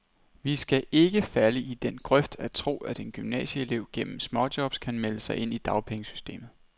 Vi skal ikke falde i den grøft at tro, at en gymnasieelev gennem småjobs kan melde sig ind i dagpengesystemet.